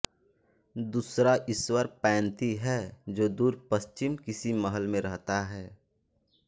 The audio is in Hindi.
दूसरा ईश्वर पैंती है जो दूर पश्चिम किसी महल में रहता है